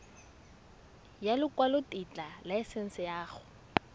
ya lekwalotetla laesense ya go